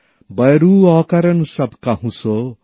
বয়রু অকারণ সব কাহুঁ সো